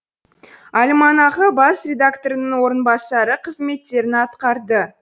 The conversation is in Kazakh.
альманахы бас редакторының орынбасары қызметтерін атқарды